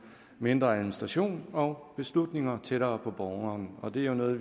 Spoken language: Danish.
mindre administration og beslutninger tættere på borgeren og det er jo noget